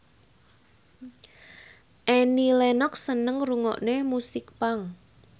Annie Lenox seneng ngrungokne musik punk